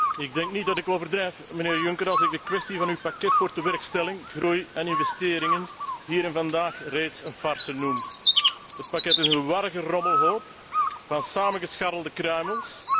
Ik denk niet dat ik overdrijf, mijnheer Juncker, als ik de kwestie van uw pakket voor tewerkstelling, groei en investeringen hier en vandaag reeds een farce noem. Het pakket is een warrige rommelhoop van samengescharrelde kruimels.